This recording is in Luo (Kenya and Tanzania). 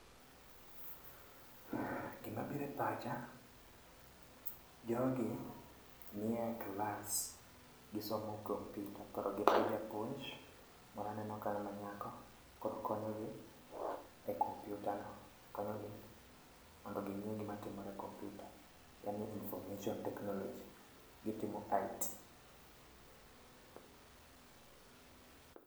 Gimabiro e pacha jogi nie class gisomo computer koro gin gi japuony moro aneno kanyo manyako koro konyogi e computer no mondo ginge gimatimore e computer en ni information technology. Gitimo IT